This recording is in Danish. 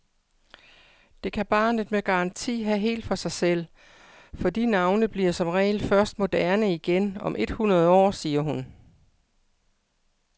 Det kan barnet med garanti have helt for sig selv, for de navne bliver som regel først moderne igen om et hundrede år, siger hun.